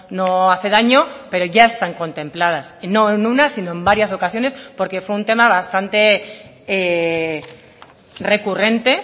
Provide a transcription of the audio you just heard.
no hace daño pero ya están contempladas y no en una sino en varias ocasiones porque fue un tema bastante recurrente